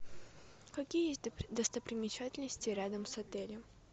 какие есть достопримечательности рядом с отелем